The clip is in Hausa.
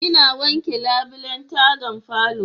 Ina wanke labulen taga falo.